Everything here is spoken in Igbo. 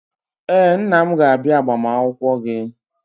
Ee, nna m ga-abịa agbamakwụkwọ gị.